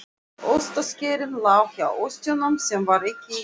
Ostaskerinn lá hjá ostinum sem var ekki í ísskápnum.